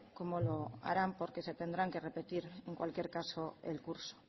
cómo lo harán porque se tendrán que repetir en cualquier caso el curso